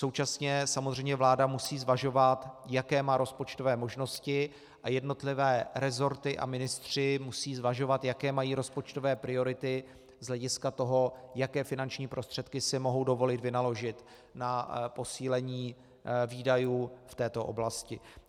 Současně samozřejmě vláda musí zvažovat, jaké má rozpočtové možnosti, a jednotlivé resorty a ministři musí zvažovat, jaké mají rozpočtové priority z hlediska toho, jaké finanční prostředky si mohou dovolit vynaložit na posílení výdajů v této oblasti.